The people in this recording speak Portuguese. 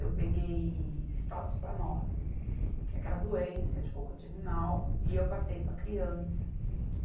Eu peguei histociplamose, que é aquela doença de cocô de animal, e eu passei para a criança.